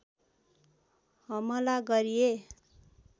हमला गरिए